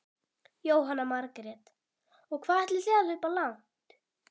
Jóhanna Margrét: Og hvað ætlið þið að hlaupa langt?